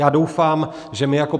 Já doufám, že my jako